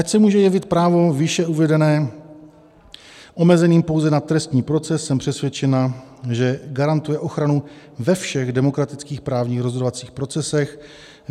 Ač se může jevit právo výše uvedené omezeným pouze na trestní proces, jsem přesvědčena, že garantuje ochranu ve všech demokratických právních rozhodovacích procesech.